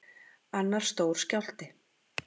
Annar stór skjálfti